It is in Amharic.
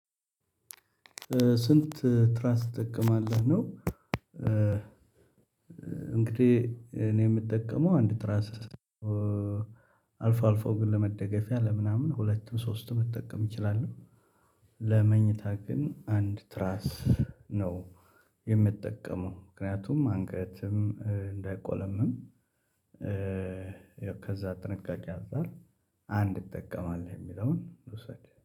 ስንት ትራስ ትጠቀማለህ ነው? እንግዲህ እኔ ምጠቀመው አንድ ትራስ። አልፎ አልፎ ግን ለመደገፊያ ለምናምን ሁለቱም ሶስቱም ልጠቀም እችላለሁ። ለመኝታ ግን አንድ ትራስ ነው የምጠቀመው ምክንያቱም አንገትም እንዳይቆለመም። ከዚያ ጥንቃቄ አንፃር አንድ እጠቀማለሁ የምለውን ልዉሰድ